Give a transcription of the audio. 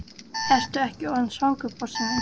Ertu ekki orðinn svangur, Bjössi minn?